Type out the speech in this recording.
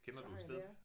Der har jeg været